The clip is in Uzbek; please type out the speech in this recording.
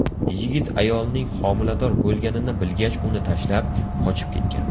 Yigit ayolning homilador bo‘lganini bilgach uni tashlab, qochib ketgan.